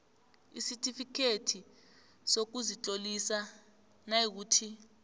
isitifikhethi sokuzitlolisa nayikuthi